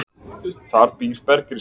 Þar býr bergrisi.